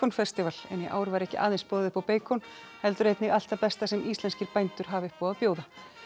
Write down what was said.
festival en í ár var ekki aðeins boðið upp á beikon heldur einnig allt það besta sem íslenskir bændur hafa upp á að bjóða